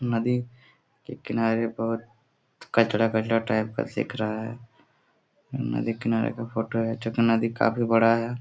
नदी के किनारे बहुत गंदा कचरा टाइप का दिख रहा है नदी किनारे का फोटो है जो कि नदी काफी बडा है।